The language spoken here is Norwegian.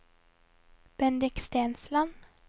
Bendik Stensland